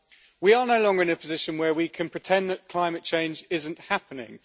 we can pretend that climate change isn't happening.